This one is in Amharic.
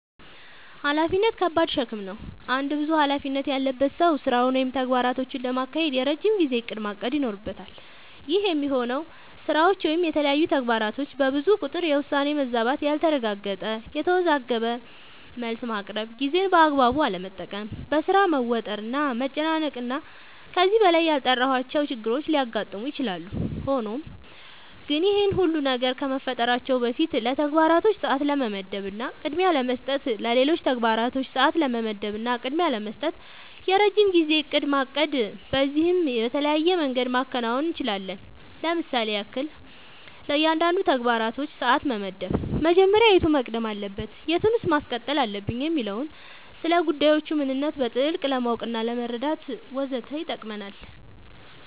ኃላፊነት ከባድ ሸክም ነው። አንድ ብዙ ኃላፊነት ያለበት ሰው ስራውን ወይም ተግባራቶቹን ለማካሄድ የረጅም ጊዜ እቅድ ማቀድ ይኖርበታል። ይህ የሚሆነው ስራዎች ወይም የተለያዩ ተግባራቶች በብዙ ቁጥር የውሳኔ መዛባት ያልተረጋገጠ፣ የተወዘጋገበ መልስ ማቅረብ፣ ጊዜን በአግባቡ አለመጠቀም፣ በሥራ መወጠር እና መጨናነቅ እና ከዚህ በላይ ያልጠራሁዋቸው ችግሮች ሊያጋጥሙ ይችላሉ። ሆኖም ግን ይህ ሁሉ ነገር ከመፈጠራቸው በፊት ለተግባራቶች ሰዓት ለመመደብ እና ቅድሚያ ለመስጠት ለሌሎች ተግባራቶች ሰዓት ለመመደብ እና ቅድሚያ ለመስጠት የረጅም ጊዜ እቅድ ማቀድ በዚህም በተለያየ መንገድ ማከናወን አንችላለኝ ለምሳሌም ያክል፦ ለእያንዳንዱ ተግባራችን ሰዓት መመደብ መጀመሪያ የቱ መቅደም አለበት የቱን ማስቀጠል አለብኝ የሚለውን፣ ስለጉዳዮቹ ምንነት በጥልቀት ለማወቅናለመረዳት ወዘተ ይጠቅመናል።